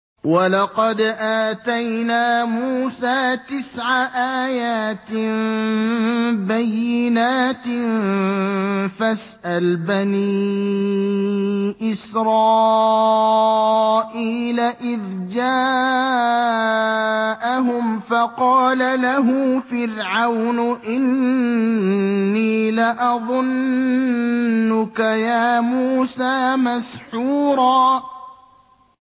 وَلَقَدْ آتَيْنَا مُوسَىٰ تِسْعَ آيَاتٍ بَيِّنَاتٍ ۖ فَاسْأَلْ بَنِي إِسْرَائِيلَ إِذْ جَاءَهُمْ فَقَالَ لَهُ فِرْعَوْنُ إِنِّي لَأَظُنُّكَ يَا مُوسَىٰ مَسْحُورًا